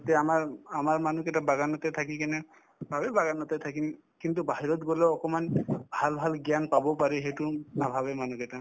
এতিয়া আমাৰ‍‍‍ উম আমাৰ মানুহকেইটাই বাগানতে থাকি কিনে বাৰু বাগানতে থাকিম কিন্তু বাহিৰত গলে অকমান ভাল ভাল জ্ঞান পাব পাৰি সেইটো নাভাবে মানুহকেইটা